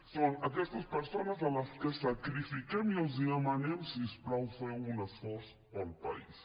són aquestes persones a les que sacrifiquem i els demanem si us plau feu un esforç per al país